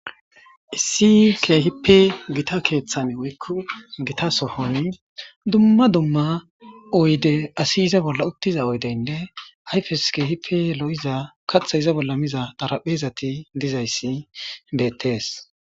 issi keehipe gita keeththan woykko gita sohon dumma dumma oyde asi iza bolla uttiza oydeynne hayfes keehipe lo'iza kathe iza bolla miza dharaphezati dizayssi beettees